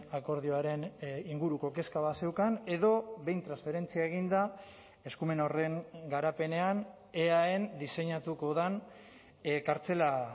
akordioaren inguruko kezka bat zeukan edo behin transferentzia eginda eskumen horren garapenean eaen diseinatuko den kartzela